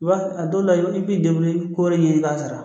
a dɔw la i b'i ko wɛrɛ ɲɛɲini i b'a sara